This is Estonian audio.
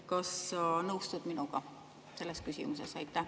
Kas sa nõustud minuga selles küsimuses?